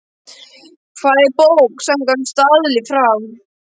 Hvað er bók samkvæmt staðli frá